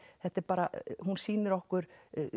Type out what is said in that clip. þetta er bara hún sýnir okkur